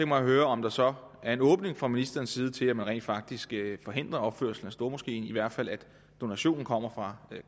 mig at høre om der så er en åbning fra ministerens side til at man rent faktisk forhindrer opførslen af stormoskéen eller i hvert fald at donationen kommer fra